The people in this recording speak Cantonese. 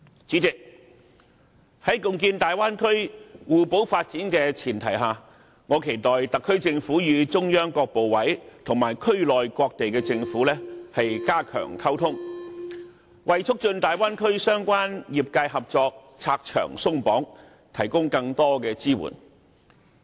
主席，在貢獻大灣區互補發展的前提下，我期待特區政府與中央各部委及區內各地的政府加強溝通，為促進大灣區相關業界合作拆牆鬆綁，提供更多的支援。